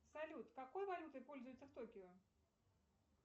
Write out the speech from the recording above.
салют какой валютой пользуются в токио